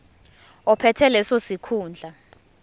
ophethe leso sikhundla